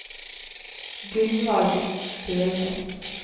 Gunvald Selnes